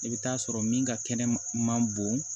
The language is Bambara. I bɛ taa sɔrɔ min ka kɛnɛ ma bon